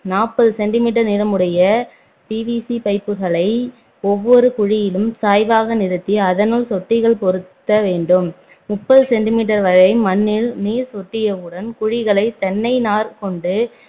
நாற்பது centimeter நீளமுடைய PVC பைப்புகளை ஒவ்வொரு குழியிலும் சாய்வாக நிறுத்தி அதுனுள் சொட்டிகள் பொருத்த வேண்டும் முப்பது centimeter வரை மண்ணில் நீர் சொட்டியவுடன் குழிகளை தென்னை நார் கொண்டு